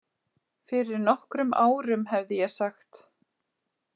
Fyrir nokkrum árum hefði ég sagt